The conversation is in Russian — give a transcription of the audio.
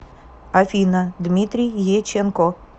афина дмитрий еченко